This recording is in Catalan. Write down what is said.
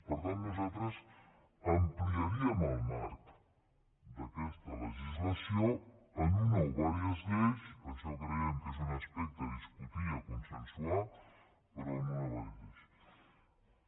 per tant nosaltres ampliaríem el marc d’aquesta legislació amb una o diverses lleis això creiem que és un aspecte a discutir i a consensuar amb una o di·verses lleis